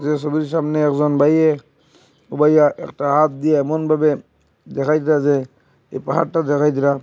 এ সবির সামনে একজন ভাইয়ে ও ভাইয়া একটা হাত দিয়ে এমনভাবে দেখাইতাসে যে পাহাড়টা জাগাই দিলাম।